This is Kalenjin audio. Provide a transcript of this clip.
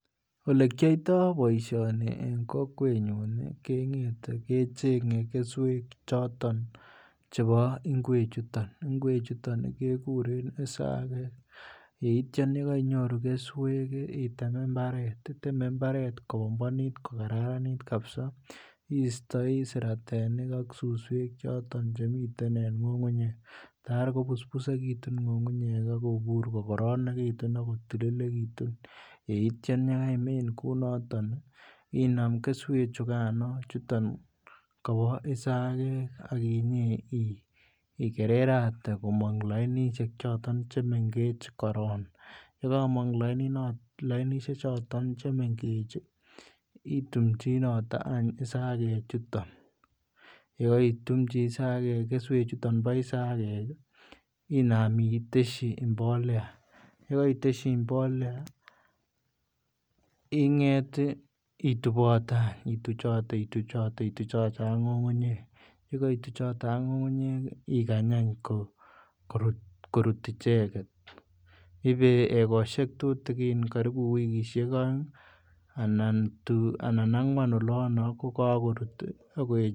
Ole kiyoitoi boisioni en kokwenyun kengete kechenge keswek choton chebo ngwechuton, ngwechuton kekuren isagek yeityo yekainyoru keswek item mbaret iteme mbaret ko bombonit kokararanit kabisa istoi suswek ak siratik Che miten en ngungunyek kota kobusbusekitun ngungunyek ak kobur kokararanitu ak kotilikitun yeitya ye kaimin kounoton inam keswek chuton kobo isagek ak ikererate komong lainisiek choton chemengech korok ye kamong lainisiek choton chemengech itumchinoto any isagek yeko itumji keswek chuton bo isagek inam itesyi mbolea ye kaitesyi mbolea inget ituchote ak ngungunyek ye kaituchote ak ngungunyek ikany korut ichegen ibe egosiek tutugin karibu egosiek aeng anan angwan olon kogokorut ak koechekitun